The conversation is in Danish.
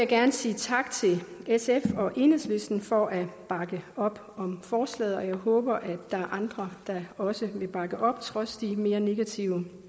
gerne sige tak til sf og enhedslisten for at bakke op om forslaget og jeg håber at der er andre der også vil bakke op trods de mere negative